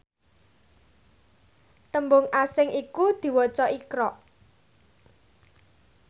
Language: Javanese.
tembung asing iku diwaca iqra